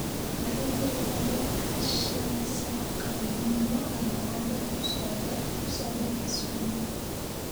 waxaa jira tareen shan saax galabnimo Arbacada ku socda Kisumu